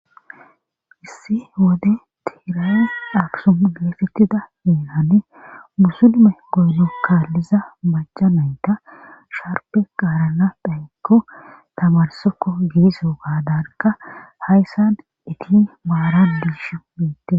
issi wode tiirae dhaksum geefettida miinane musulume goyno kaalliza maca nayta sharpe qaarana phaykko tamarsoko giiso gaadanka hayssan iti maara biishu miitte